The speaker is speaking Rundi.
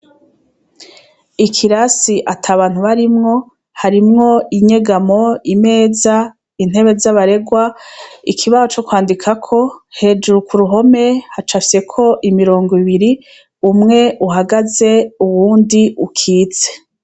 Ikirasi atabantu barimwo harimwo harimwo inyegamo, imeza, intebe za barerwa, ikibaho co kwandikako hejuru ku ruhome hacafyeko imirongo ibiri umwe uhagaze uwundi ukitse.